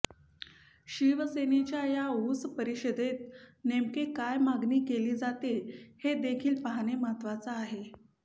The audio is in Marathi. शिवसेनेच्या या ऊस परिषदेत नेमकी काय मागणी केली जाते हे देखील पाहणे महत्त्वाचा आहे